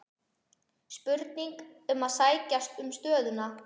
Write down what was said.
Spurning um að sækja um stöðuna?